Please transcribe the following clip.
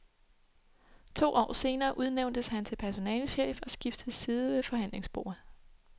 To år senere udnævntes han til personalechef og skiftede side ved forhandlingsbordet.